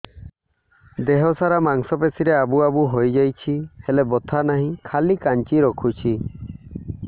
ଦେହ ସାରା ମାଂସ ପେଷି ରେ ଆବୁ ଆବୁ ହୋଇଯାଇଛି ହେଲେ ବଥା ନାହିଁ ଖାଲି କାଞ୍ଚି ରଖୁଛି